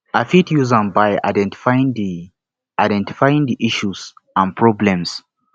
i fit use am by identifying di identifying di issues and problems